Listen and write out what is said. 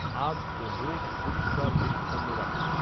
হাত ও মুখ পরিষ্কার পরিচ্ছন্ন রাখুন ।